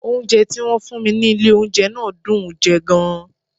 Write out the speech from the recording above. Oúnjẹ tí wọ́n fún mi ní ilé oúnjẹ náà dùn ún jẹ gan-an